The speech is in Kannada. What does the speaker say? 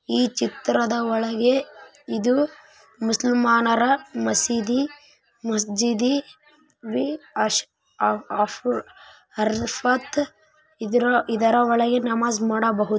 ಈ ಚಿತ್ರದ ಒಳಗೆ ಇದು ಮುಸ್ಲಿಂ ಮಸೀದಿ ಮಜ್ಜಿದಿ ಅರ್ ಅರ್ಫಾತ್‌ ಇದರ ಒಳಗೆ ನಮಾಜ್‌ ಮಾಡಬಹುದು .